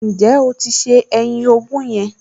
Ǹjẹ́ o ti se ẹyin ogún yẹn?